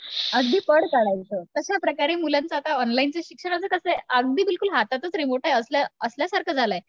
अगदी पळ काढायचो, अश्याप्रकारे आता मुलांची आता ऑनलाईनच शिक्षणाच कसय, अगदी बिलकुल हातातच रिमोट आहे असं असल्यासारख झालंय